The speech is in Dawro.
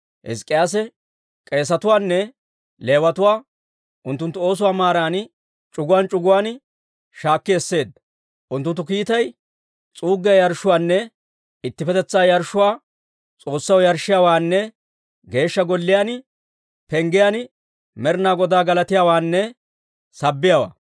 Hizk'k'iyaase k'eesetuwaanne Leewatuwaa unttunttu oosuwaa maaran c'uguwaan c'uguwaan shaakki esseedda. Unttunttu kiitay s'uuggiyaa yarshshuwaanne ittippetetsaa yarshshuwaa S'oossaw yarshshiyaawaanne Geeshsha Golliyaa penggiyaan Med'inaa Godaa galatiyaawaanne sabbiyaawaa.